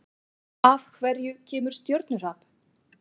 Af hverju kemur stjörnuhrap?